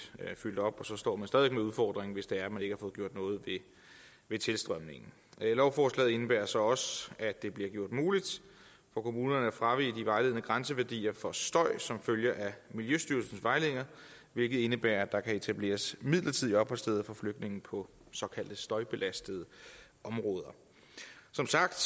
fyldt op og så står man stadig væk med udfordringen hvis det er man ikke har fået gjort noget ved tilstrømningen lovforslaget indebærer så også at det bliver gjort muligt for kommunerne at fravige de vejledende grænseværdier for støj som følge af miljøstyrelsens vejledninger hvilket indebærer at der kan etableres midlertidige opholdssteder for flygtninge på såkaldte støjbelastede områder som sagt